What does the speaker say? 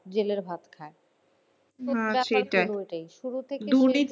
জেলের ভাত খায়। শুরু থেকে,